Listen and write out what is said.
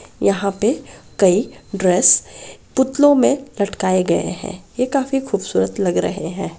यहाँ पे कई ड्रेस पुतलों मे लटकाए गए है ये काफी खूबसूरत लग रहे है।